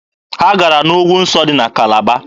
Ha gara n'ugwu nsọ dị na Kalaba.